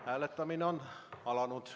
Hääletamine on alanud.